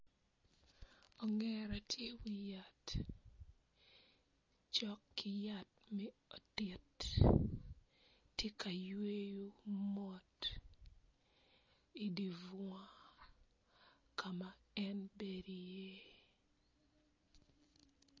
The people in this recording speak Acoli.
Ongera tye iwi yat cok ki yat me otit tye ka yweyo mot idi bunga ka ma en bedo iye.